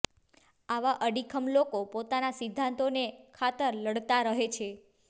આવા અડીખમ લોકો પોતાના સિદ્ધાંતોને ખાતર લડતા રહે છે